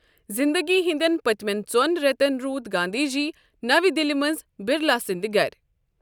زِندگی ہٕنٛدٮ۪ن پتِمین ژو٘ن ریتن روٗد گاندھی جی نوِ دِلہِ منٛز بِرلا سندِ گرِ ۔